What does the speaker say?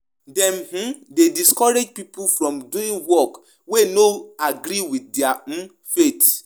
E dey make dem fit teach pipo how Dem fit balance work and their faith